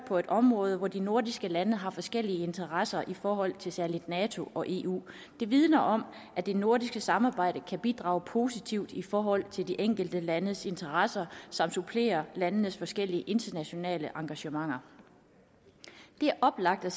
på et område hvor de nordiske lande har forskellige interesser i forhold til særlig nato og eu vidner om at det nordiske samarbejde kan bidrage positivt i forhold til de enkelte landes interesser samt supplere landenes forskellige internationale engagementer det er oplagt at